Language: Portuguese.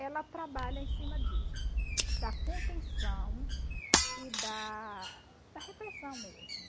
ela trabalha em cima disso, da contenção e da da repressão mesmo.